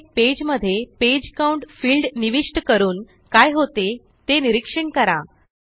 प्रत्येक पेज मध्येPage count field निविष्ट करून काय होते ते निरीक्षण करा